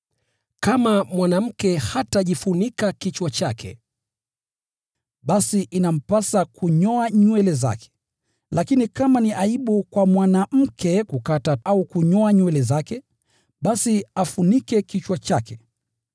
Kama mwanamke hatajifunika kichwa chake, basi inampasa kunyoa nywele zake. Lakini kama ni aibu kwa mwanamke kukata au kunyoa nywele zake, basi afunike kichwa chake.